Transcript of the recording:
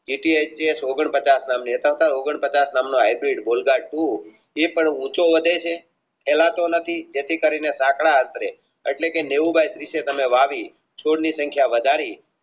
એથી એ ઓગણપચાસ સાલ લેતા હતા અને ઓગણપચાસ તું બાય તું તે પણ ઓછો વધે છે ફેલાતો નથી જેથી કરીને સંલ રહે એટલે કે નેવું બાય ત્રીસે તમે વાવી છોડની સંખ્યા વધારી